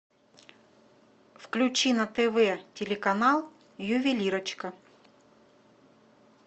включи на тв телеканал ювелирочка